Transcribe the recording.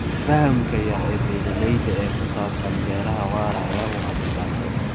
Fahamka yar ee beeralayda ee ku saabsan beeraha waaraya waa dhibaato.